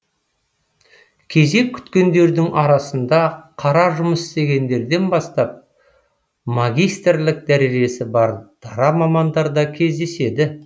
кезек күткендердің арасында қара жұмыс іздегендерден бастап магистрлік дәрежесі бар дара мамандар да кездеседі